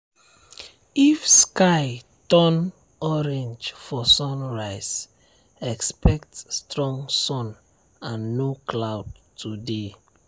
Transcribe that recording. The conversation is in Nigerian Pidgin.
if sky turn orange for sunrise expect strong sun and no cloud today.